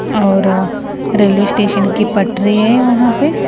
और railway station की पटरी है वहां पे--